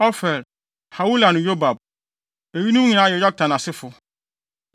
Ofir, Hawila ne Yobab. Eyinom nyinaa yɛ Yoktan asefo.